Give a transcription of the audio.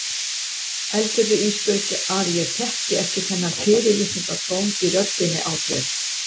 Heldurðu Ísbjörg að ég þekki ekki þennan fyrirlitningartón í röddinni á þér?